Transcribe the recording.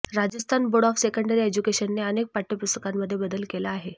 Rajasthan board of secondary एज्युकेशनने अनेक पाठ्यपुस्तकांमध्ये बदल केला आहे